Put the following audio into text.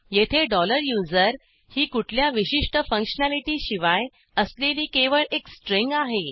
येथे USER ही कुठल्या विशिष्ट फंक्शनॅलिटी शिवाय असलेली केवळ एक स्ट्रिंग आहे